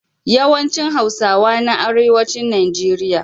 Yawan cin hausawa na arewacin nigeria